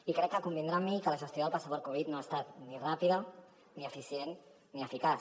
i crec que deurà convenir amb mi que la gestió del passaport covid no ha estat ni ràpida ni eficient ni eficaç